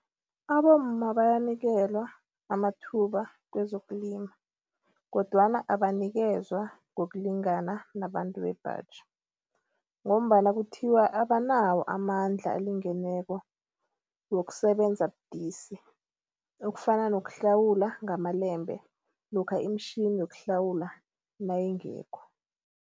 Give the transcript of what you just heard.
Abomma bayanikelwa amathuba kwezokulima kodwana abanikezwa ngokulingana nabantu bebhaji ngombana kuthiwa abanawo amandla alingeneko wokusebenza budisi. Okufana nokuhlawula ngamalembe lokha imitjhini yokuhlawula nayingekho.